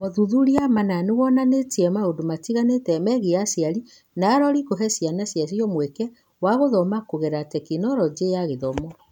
Mothuthuria mana nĩ wonanirie maũndũ matiganĩte megiĩ aciari na arori kũhe ciana ciacio mweke wa gũthoma kũgerera Tekinoronjĩ ya Gĩthomo.